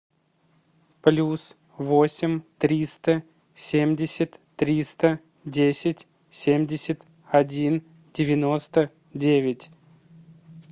плюс восемь триста семьдесят триста десять семьдесят один девяносто девять